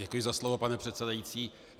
Děkuji za slovo, pane předsedající.